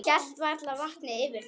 Hélt varla vatni yfir þeim.